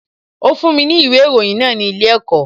Ó fún mi ní ìwé ìròyìn náà ní ilé ẹ̀kọ́